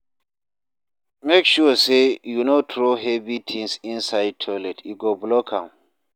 Make sure sey you no throw heavy tins inside toilet, e go block am.